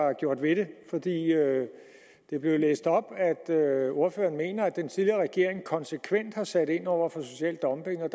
har gjort ved det det blev læst op at ordføreren mener at den tidligere regering konsekvent har sat ind over for social dumping og